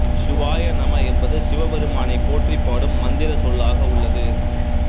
சிவாயநம என்பது சிவபெருமானைப் போற்றிப் பாடும் மந்திரச் சொல்லாக உள்ளது